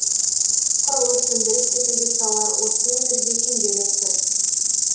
құрылыс өндіріс секілді салалар осы өңірде кенжелеп тұр